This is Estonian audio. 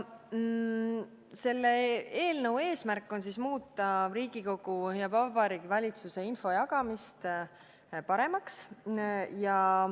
Selle eelnõu eesmärk on muuta Riigikogu ja Vabariigi Valitsuse infojagamist paremaks.